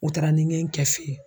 U taara ni n ye n kɛ fɛ ye.